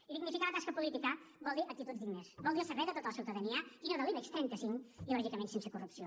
i dignificar la tasca política vol dir actituds dignes vol dir al servei de tota la ciutadania i no de l’ibex trenta cinc i lògicament sense corrupció